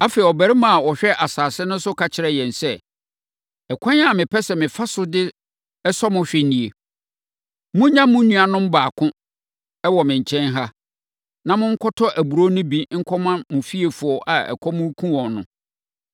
“Afei, ɔbarima a ɔhwɛ asase no so ka kyerɛɛ yɛn sɛ, ‘Ɛkwan a mepɛ sɛ mefa so de sɔ mo hwɛ nie: Monnya mo nuanom baako wɔ me nkyɛn ha, na monkɔtɔ aburoo no bi nkɔma mo fiefoɔ a ɛkɔm rekum wɔn no.